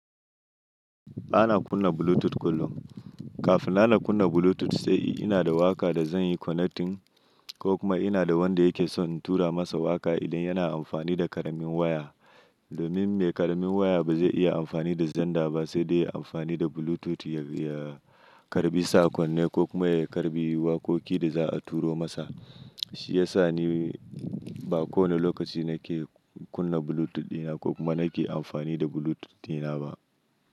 Ba na kunna Bluetooth kullum. Kafin na kunna Bluetooth sai ina da waƙa da zan yi connecting ko kuma ina da wanda yake son in tura masa waƙa idan yana amfani da ƙaramin waya. Domin mai ƙaramin waya ba zai iya amfani da xender ba sai dai ya amfani da Bluetooth ya karɓi sakonne ko kuma ya karɓi wakoki da za a turo masa. Shi ya sa ni ba kowane lokaci nake kunna Bluetooth dina ko kuma nake amfani da Bluetooth dina ba.